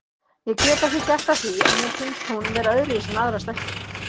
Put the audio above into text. Ég get ekki gert að því en mér finnst hún vera öðruvísi en aðrar stelpur.